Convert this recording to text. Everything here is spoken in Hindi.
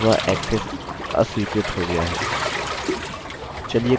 चलिए कोशिश करते हैं